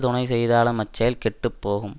துணை செய்தாலும் அச்செயல் கெட்டு போகும்